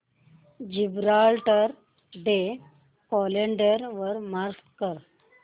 Gibraltar day calendar वर mark कर